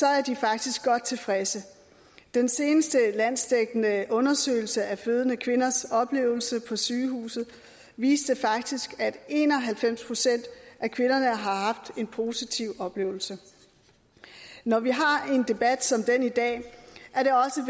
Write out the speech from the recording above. er de faktisk godt tilfredse den seneste landsdækkende undersøgelse af fødende kvinders oplevelse på sygehuset viste faktisk at en og halvfems procent af kvinderne har haft en positiv oplevelse når vi har en debat som den i dag